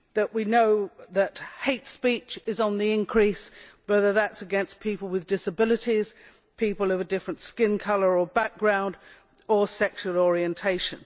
We know too that hate speech is on the increase, whether that is against people with disabilities, or people of a different skin colour or background or sexual orientation.